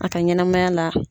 A ka ɲɛnamaya la